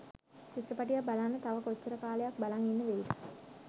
චිත්‍රපටයක් බලන්න තව කොච්චර කාලයක් බලං ඉන්න වෙයිද